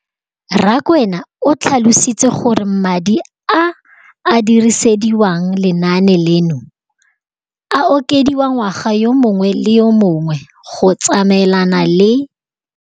Rakwena o tlhalositse gore madi a a dirisediwang lenaane leno a okediwa ngwaga yo mongwe le yo mongwe go tsamaelana le